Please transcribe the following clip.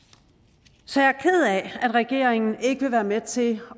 så jeg er ked af at regeringen ikke vil være med til